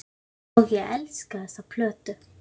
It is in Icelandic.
Og ég elskaði þessa plötu.